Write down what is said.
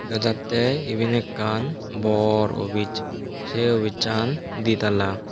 dega jatte iben ekkan bor obij sey obicchan ditala.